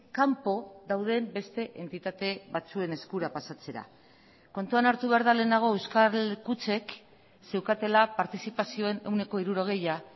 kanpo dauden beste entitate batzuen eskura pasatzera kontuan hartu behar da lehenago euskal kutxek zeukatela partizipazioen ehuneko hirurogeia